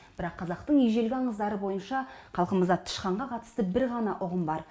бірақ қазақтың ежелгі аңыздары бойынша халқымызда тышқанға қатысты бір ғана ұғым бар